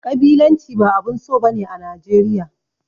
Ƙabilanci ba abun so ba ne a Najeriya.